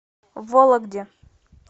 вологде